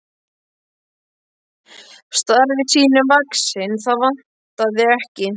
Starfi sínu vaxinn, það vantaði ekki.